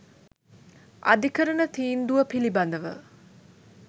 "අධිකරණ තීන්දුව පිළිබඳව